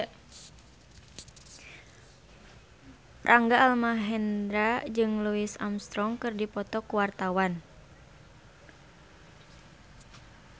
Rangga Almahendra jeung Louis Armstrong keur dipoto ku wartawan